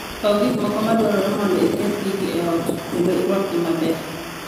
Kaw gik moko ma dwarore mondo iket gigi e ot kendo irwakgi maber.